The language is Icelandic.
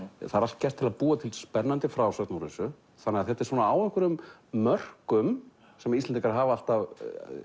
það er allt gert til að búa til spennandi frásögn úr þessu þannig að þetta er á einhverjum mörkum sem Íslendingar hafa alltaf